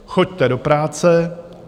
Choďte do práce.